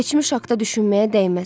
Keçmiş haqqında düşünməyə dəyməz.